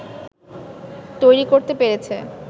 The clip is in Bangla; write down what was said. তৈরি করতে পেরেছে